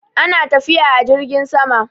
ana tafiya a jirgin sama